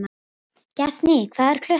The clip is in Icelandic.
Gestný, hvað er klukkan?